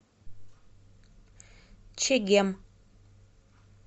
чегем